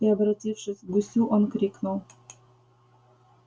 и обратившись к гусю он крикнул